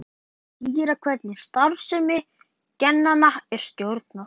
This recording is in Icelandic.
Loks þarf að skýra hvernig starfsemi genanna er stjórnað.